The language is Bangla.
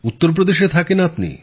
উত্তর প্রদেশে থাকেন আপনি